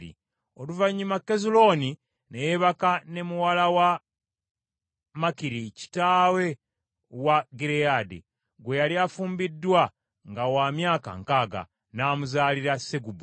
Oluvannyuma Kezulooni, ne yeebaka ne muwala wa Makiri kitaawe wa Gireyaadi, gwe yali afumbiddwa nga wa myaka nkaaga, n’amuzaalira Segubu.